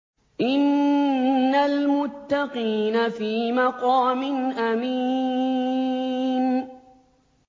إِنَّ الْمُتَّقِينَ فِي مَقَامٍ أَمِينٍ